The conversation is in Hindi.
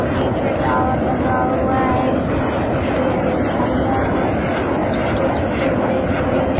पीछे टॉवर लगा हुआ है। हरे हरे झाड़ियां हैं छोटे छोटे बड़े बड़े।